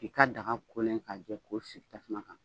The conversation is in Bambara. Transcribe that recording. I ka daga kolen k'a jɛ k'o sigi tasuma kan.